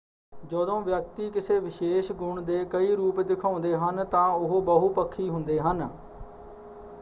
ਜਦੋਂ ਵਿਅਕਤੀ ਕਿਸੇ ਵਿਸ਼ੇਸ਼ ਗੁਣ ਦੇ ਕਈ ਰੂਪ ਦਿਖਾਉਂਦੇ ਹਨ ਤਾਂ ਉਹ ਬਹੁਪੱਖੀ ਹੁੰਦੇ ਹਨ।